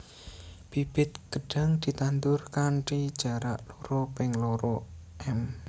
Bibit gedhang ditandur kanthi jarak loro ping loro m